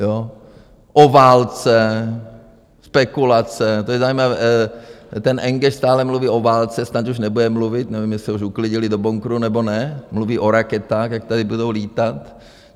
O válce, spekulace, to je zajímavé, ten Enge stále mluví o válce, snad už nebude mluvit, nevím, jestli už ho uklidili do bunkru, nebo ne, mluví o raketách, jak tady budou lítat.